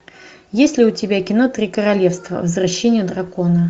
есть ли у тебя кино три королевства возвращение дракона